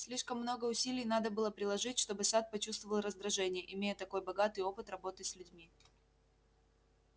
слишком много усилий надо было приложить чтобы сатт почувствовал раздражение имея такой богатый опыт работы с людьми